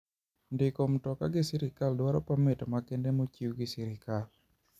Ndiko mtoka gi sirkal dwaro pamit makende mochiw gi sirkal.